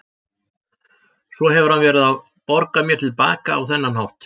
Svo hefur hann verið að borga mér til baka á þennan hátt.